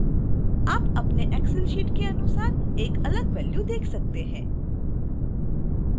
आप अपने excel sheet के अनुसार एक अलग वै्ल्यू देख सकते हैं